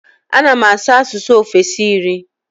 Ana m asụ asụsụ ofesi iri.